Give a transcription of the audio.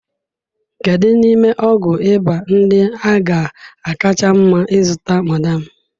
Kedu n'ime ọgwụ ịba ndị a ga-akacha mma ịzụta, madam?